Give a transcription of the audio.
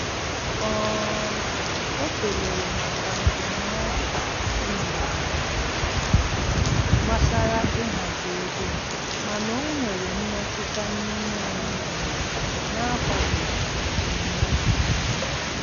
um O kelere maka ndụmọdụ e nyere ya gbasara ịhazi ego, mana o nwere mmetụta n'ime onwe ya na-akwadoghị ebumnobi ya.